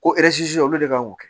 Ko olu de kan k'o kɛ